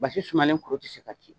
Basi sumalen kuru te se ka ci.